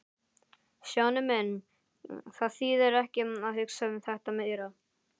Stjáni minn, það þýðir ekki að hugsa um þetta meira.